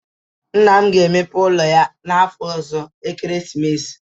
Nna m ga-emepe ụlọ ya n'afọ ọzọ ekeresimesi